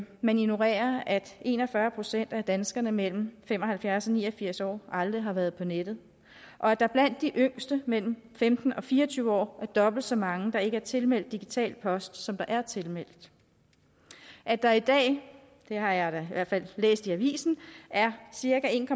man ignorerer at en og fyrre procent af danskerne mellem fem og halvfjerds og ni og firs år aldrig har været på nettet og at der blandt de yngste mellem femten og fire og tyve år er dobbelt så mange der ikke er tilmeldt digital post som der er tilmeldt og at der i dag det har jeg da i hvert fald læst i aviser er cirka en